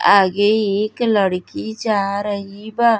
आगे ईक लड़की जा रही बा।